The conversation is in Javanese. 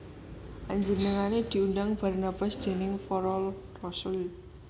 Panjenengané diundang Barnabas déning para rasul